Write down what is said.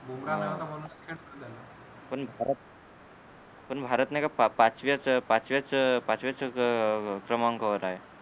अं पण भारत पण भारत नाही का पा पाचव्याच पाचव्याच पाचव्याच अं क्रमांकावर आहे